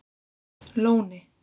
Lóni